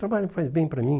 Trabalho faz bem para mim?